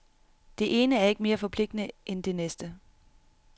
Det ene er ikke mere forpligtende end det næste.